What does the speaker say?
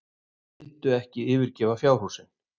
Vildu ekki yfirgefa fjárhúsin.